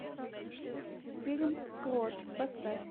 фильм крот поставь